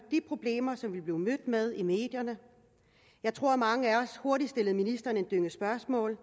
de problemer som vi blev mødt med i medierne jeg tror at mange af os hurtigt stillede ministeren en dynge spørgsmål